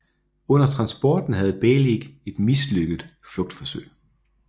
Under transporten havde Beilig et mislykket flugtforsøg